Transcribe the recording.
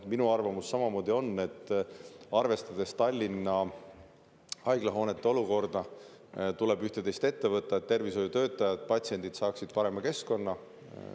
Minu arvamus on samamoodi see, et arvestades Tallinna haiglahoonete olukorda, tuleb üht-teist ette võtta, et tervishoiutöötajad ja patsiendid saaksid parema keskkonna.